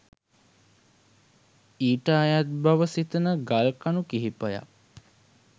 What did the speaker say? ඊට අයත් බව සිතන ගල් කණු කිහිපයක්